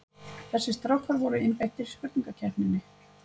Þessir strákar voru einbeittir í spurningakeppninni!